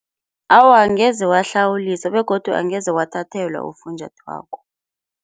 Awa angeze wahlawuliswa begodu angeze wathathelwa ufunjathwako.